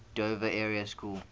dover area school